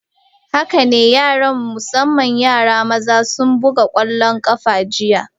Haka ne, yara, musamman yara maza sun buga kwallon kafa jiya.